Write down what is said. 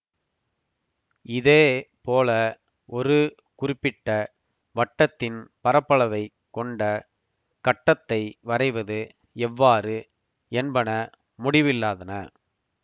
இதே போல ஒரு குறிப்பிட்ட வட்டத்தின் பரப்பளவைக் கொண்ட கட்டத்தை வரைவது எவ்வாறு என்பன முடிவில்லாதன